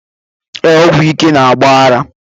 Ee, ọgwụ ike na-agba ara